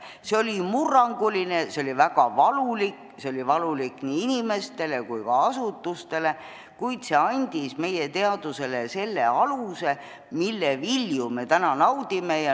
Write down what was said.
See oli murranguline, see oli väga valulik, see oli valulik nii inimestele kui ka asutustele, kuid see andis meie teadusele selle aluse, mille vilju me täna naudime.